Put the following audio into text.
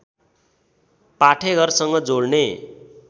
पाठेघरसँग जोड्ने